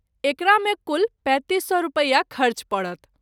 एकरा मे कुल ३५००/- रूपया खर्च परत।